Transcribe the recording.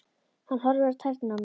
Hann horfir á tærnar á mér.